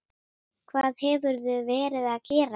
Hvað hefurðu verið að gera?